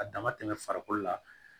A dama tɛmɛ farikolo la